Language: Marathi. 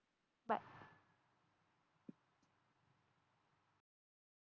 Bye